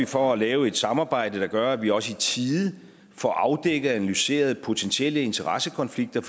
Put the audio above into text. for at lave et samarbejde der gør at vi også i tide får afdækket og analyseret potentielle interessekonflikter